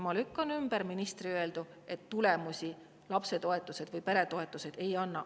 Ma lükkan ümber ministri öeldu, et lapsetoetused või peretoetused tulemusi ei anna.